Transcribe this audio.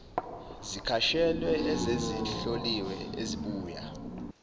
zikashwele esezihloliwe ezibuya